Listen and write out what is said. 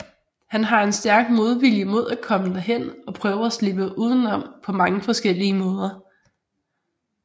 Han har en stærk modvilje mod at komme derhen og prøver at slippe uden om på mange forskellige måder